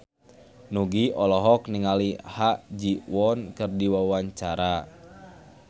Nugie olohok ningali Ha Ji Won keur diwawancara